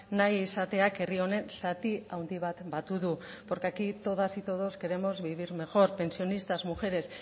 nahi izateak herri honen zati handi bat batu du porque aquí todas y todos queremos vivir mejor pensionistas mujeres